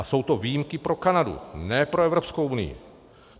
A jsou to výjimky pro Kanadu, ne pro Evropskou unii.